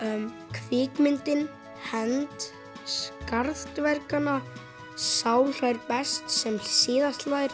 kvikmyndin hefnd skarð dverganna sá hlær best sem síðast hlær